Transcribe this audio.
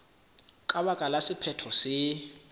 ka baka la sephetho se